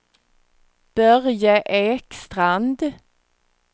Börje Ekstrand